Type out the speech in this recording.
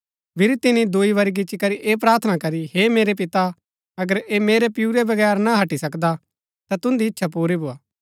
फिरी तिनी दूई बरी गिच्ची करी ऐह प्रार्थना करी हे मेरै पिता अगर ऐह मेरै पिऊरै बगैर ना हट्टी सकदा ता तुन्दी इच्छा पुरी भोआ